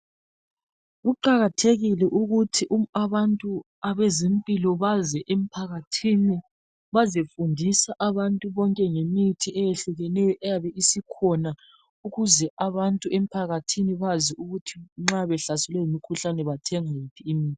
Kuqakathekile ukuthi abantu abezimpilo baze emphakathini bezofundisa abantu ngemithi eyehlukeneyo eyabe isikhona ukuze abantu emphakathini bazi ukuthi nxa sebehlaselwe yimikhuhlane bathenge yiphi imithi.